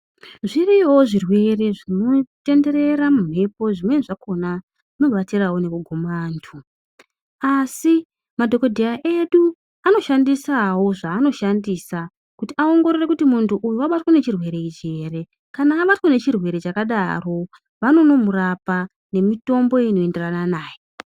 Zviriyovo zvirwere zvinotenderere mumhepo zvimweni zvakona zvinobatsiravo nekuguma antu. Asi madhogodheya edu anoshandisavo zvaanoshandisa kuti aongorore kuti muntu uyu abatwe ngechirwere ichi ere. Kana abatwa nechirwere chakadaro vanonomurapa nemitombo inoenderana naye.